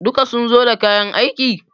duka sun zo da kayan aiki?